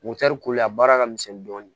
kolo a baara ka misɛn dɔɔni